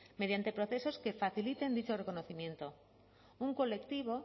mediante procesos que faciliten dicho reconocimiento un colectivo